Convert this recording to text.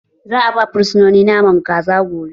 Za'a ba fursunoni naman kaza gobe.